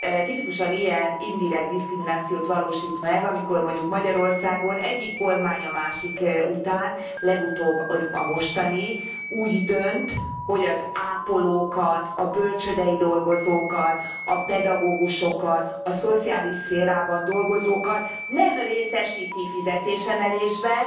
Tipikusan ilyen indirekt diszkriminációt valósít meg, amikor mondjuk Magyarországon egyik kormány a másik után legutóbb a mostani úgy dönt, hogy az ápolókat, a bölcsődei dolgozókat, a pedagógusokat, a szociális szférában dolgozókat nem részesíti fizetésemelésben,